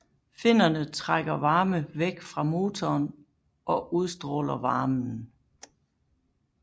Finnerne trækker varme væk fra motoren og udstråler varmen